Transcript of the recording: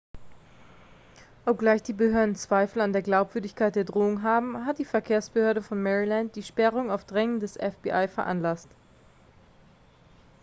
obgleich die behörden zweifel an der glaubwürdigkeit der drohung haben hat die verkehrsbehörde von maryland die sperrung auf drängen des fbi veranlasst